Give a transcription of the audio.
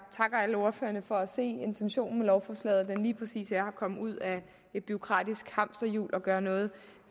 takker alle ordførerne for at se at intentionen med lovforslaget lige præcis er at komme ud af et bureaukratisk hamsterjul og at gøre noget